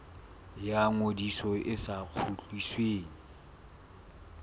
ya ngodiso e sa kgutlisweng